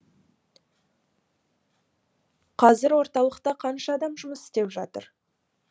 қазір орталықта қанша адам жұмыс істеп жатыр